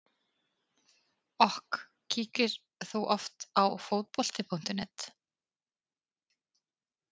OK Kíkir þú oft á Fótbolti.net?